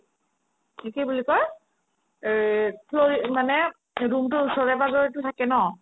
কি কি বুলি কই এই তোৰ মানে room তোৰ ওচৰে পাজৰেতো থাকে ন